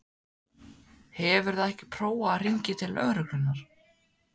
Hefurðu ekki prófað að hringja til lögreglunnar?